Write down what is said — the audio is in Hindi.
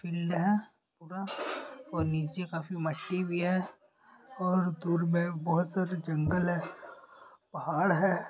है पूरा और नीचे काफी मट्टी भी है और दूर में बहो सारे जंगल हैं पहाड़ है।